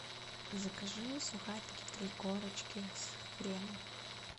закажи сухарики три корочки с хреном